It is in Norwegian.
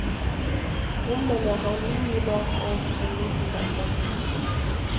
Rommene har minibar og en liten balkong.